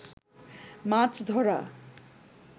মাছ ধরা